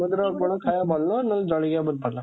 ସମୁଦ୍ର କୂଳ ଖାଇବା ଭଲ ନା ଜଳଖିଆ ବହୁତ ଭଲ?